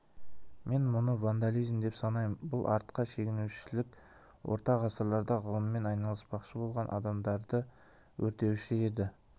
мен мұны вандализм деп санаймын бұл артқа шегінушілік орта ғасырларда ғылыммен айналыспақшы болған адамдарды өртеуші еді